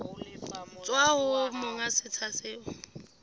tswa ho monga setsha seo